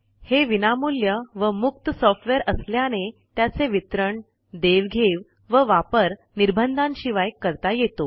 हे विनामूल्य व मुक्त सॉफ्टवेअर असल्याने त्याचे वितरण देवघेव व वापर निर्बंधांशिवाय करता येतो